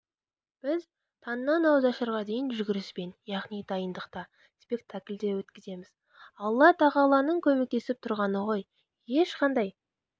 біз таңнан ауызашарға дейін жүгіріспен яғни дайындықта спектакльде өткіземіз алла тағаланың көмектесіп тұрғаны ғой ешқандай